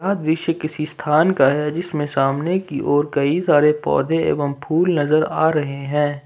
यह दृश्य किसी स्थान का है जिसमें सामने की ओर कई सारे पौधे एवं फूल नजर आ रहे हैं।